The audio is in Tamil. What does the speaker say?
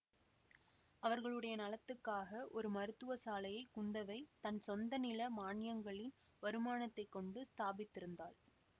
அவர்களுடைய நலத்துக்காக ஒரு மருத்துவ சாலையை குந்தவை தன் சொந்த நில மான்யங்களின் வருமானத்தைக் கொண்டு ஸ்தாபித்திருந்தாள்